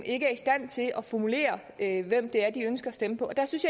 ikke er i stand til at formulere hvem det er de ønsker at stemme på der synes